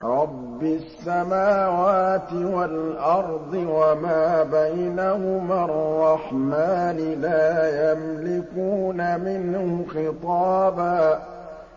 رَّبِّ السَّمَاوَاتِ وَالْأَرْضِ وَمَا بَيْنَهُمَا الرَّحْمَٰنِ ۖ لَا يَمْلِكُونَ مِنْهُ خِطَابًا